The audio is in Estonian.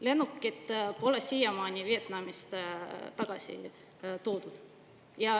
Lennukit pole siiamaani Vietnamist tagasi toodud.